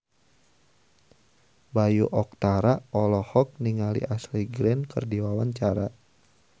Bayu Octara olohok ningali Ashley Greene keur diwawancara